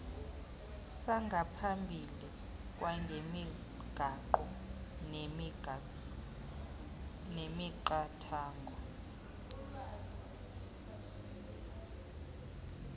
sangaphambili kwangemigaqo nemiqathango